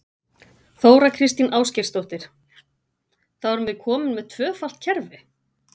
Þóra Kristín Ásgeirsdóttir: Þá erum við komin með tvöfalt kerfi?